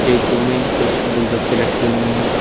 Acute में कुछ गुलदस्ते लटके हुए हैं।